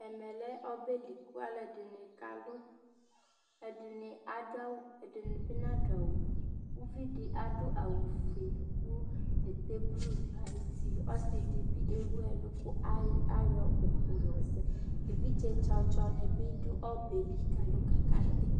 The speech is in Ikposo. Ɛmɛ lɛ ɔbɛ li ku aluɛdini k'alú, ɛdini adu awù, ɛdini bi nadu awù, uvi di adu awù fue ku bɛtɛ blú n'ayiti, ɔsi di ewu ɛlu ku ayɔ uku yɔzɛ, evidzetsɔtsɔ ni bi dù ɔbɛ li k'alu, k'aka ti